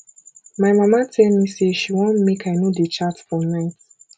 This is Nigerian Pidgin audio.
my mama tell me say she wan make i no dey chat for night